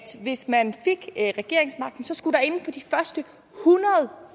hvis man fik regeringsmagten så skulle